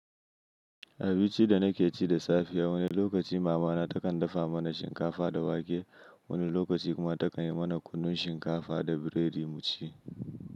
A binci da naƙe ci da safiya, wani lokaci mamana takan dafa mana shinkafa da wake, wani lokaci kuma takan yi mana kunun shinkafa da biredi mu ci.